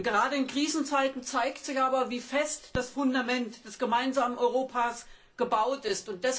Gerade in Krisenzeiten zeigt sich aber, wie fest das Fundament des gemeinsamen Europas gebaut ist.